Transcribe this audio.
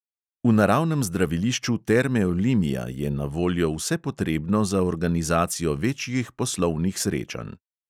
V naravnem zdravilišču terme olimia je na voljo vse potrebno za organizacijo večjih poslovnih srečanj.